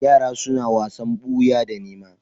Yara suna wasan boya da nēma.